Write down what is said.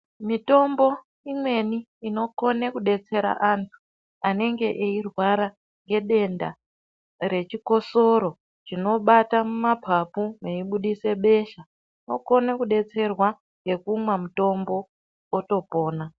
Mitombo imweni inokona kudetsera anenge eirwara nedenda rinobata mumapapu veibuda besha vokona kudetsera ngekumwa mutombo otopona.